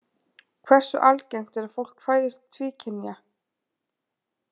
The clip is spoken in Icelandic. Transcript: Hversu algengt er að fólk fæðist tvíkynja?